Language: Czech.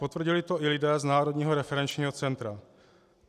Potvrdili to i lidé z Národního referenčního centra.